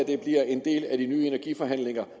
det bliver en del af de nye energiforhandlinger